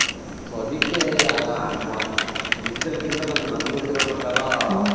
so ಅದಕ್ಕೆ digital ಗಿಂತ ನನಗ್ ಗೊತ್ತಿರೋ ಪ್ರಕಾರ